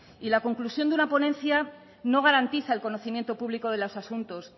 y la conclusión de una ponencia no garantiza el conocimiento público de los asuntos